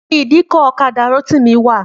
Níbo ni ìdíkọ̀ ọ̀kadà Rótìmí wà?